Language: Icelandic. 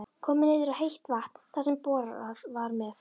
Komið niður á heitt vatn þar sem borað var með